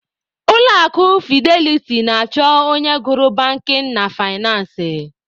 Ulọ akụ fideliti na-achọ onye gụrụ bankin na faịnansị.